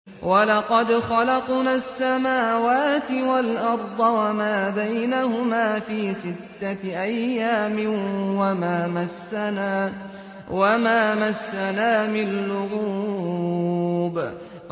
وَلَقَدْ خَلَقْنَا السَّمَاوَاتِ وَالْأَرْضَ وَمَا بَيْنَهُمَا فِي سِتَّةِ أَيَّامٍ وَمَا مَسَّنَا مِن لُّغُوبٍ